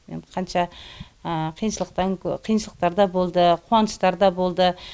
енді қанша қиыншылықтар да болды қуаныштар да болды